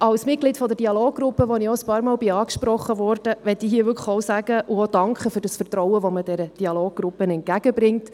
Als Mitglied der Dialoggruppe, auf die ich einige Male angesprochen worden bin, möchte ich hier für das Vertrauen danken, das man dieser Dialoggruppe entgegenbringt.